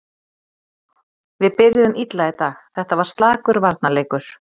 Við byrjuðum illa í dag, þetta var slakur varnarleikur.